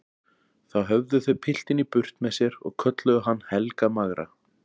Þá höfðu þau piltinn í burt með sér og kölluðu hann Helga magra.